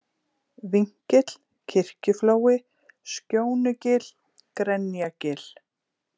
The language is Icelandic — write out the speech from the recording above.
Vinkill, Kirkjuflói, Skjónugil, Grenjagil